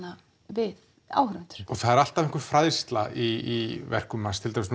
við áhorfendur og það er alltaf einhver fræðsla í verkum Ævars til dæmis